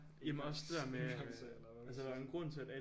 Engangs- engangs- eller hvad man siger